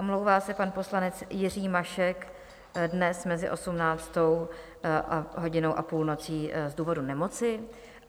Omlouvá se pan poslanec Jiří Mašek dnes mezi 18. hodinou a půlnocí z důvodu nemoci.